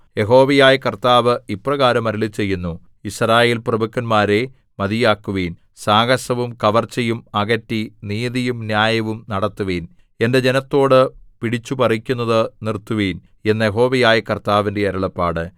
യഹോവയായ കർത്താവ് ഇപ്രകാരം അരുളിച്ചെയ്യുന്നു യിസ്രായേൽപ്രഭുക്കന്മാരേ മതിയാക്കുവിൻ സാഹസവും കവർച്ചയും അകറ്റി നീതിയും ന്യായവും നടത്തുവിൻ എന്റെ ജനത്തോടു പിടിച്ചുപറിക്കുന്നത് നിർത്തുവിൻ എന്ന് യഹോവയായ കർത്താവിന്റെ അരുളപ്പാട്